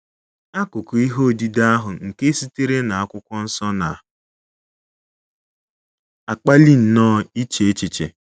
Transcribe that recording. AKỤKỤ ihe odide ahụ nke sitere na akwụkwọ nsọ na - akpali nnọọ iche echiche.